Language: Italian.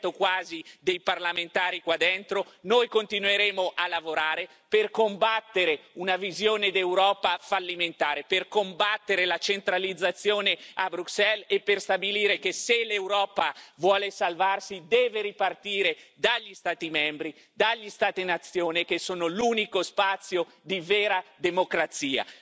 quasi 20 dei parlamentari di questa Assemblea, noi continueremo a lavorare per combattere una visione d'Europa fallimentare, per combattere la centralizzazione a Bruxelles e per stabilire che, se l'Europa vuole salvarsi, deve ripartire dagli Stati membri, dagli Stati nazione, che sono l'unico spazio di vera democrazia.